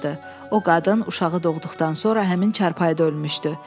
O qadın uşağı doğduqdan sonra həmin çarpayıda ölmüşdü.